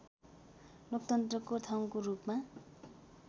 लोकतन्त्रको ठाउँको रूपमा